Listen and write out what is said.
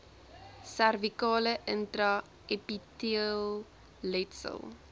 servikale intra epiteelletsel